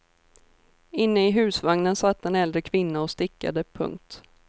Inne i husvagnen satt en äldre kvinna och stickade. punkt